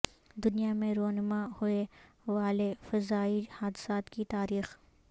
دنیا میں رونما ہوئے والے فضائی حادثات کی تاریخ